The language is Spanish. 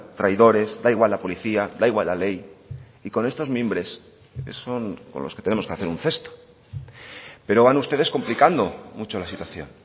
traidores da igual la policía da igual la ley y con estos mimbres son con los que tenemos que hacer un cesto pero van ustedes complicando mucho la situación